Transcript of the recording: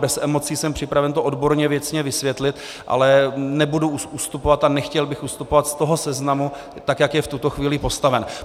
Bez emocí jsem připraven to odborně věcně vysvětlit, ale nebudu ustupovat a nechtěl bych ustupovat z toho seznamu, tak jak je v tuto chvíli postaven.